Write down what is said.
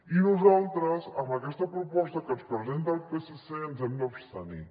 i nosaltres amb aquesta proposta que ens presenta el psc ens hi hem d’abstenir